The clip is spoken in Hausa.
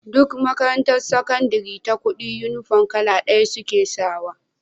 Duk makarantar sakandari ta kudi inufom kala daya suke sawa